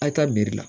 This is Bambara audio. A' ka la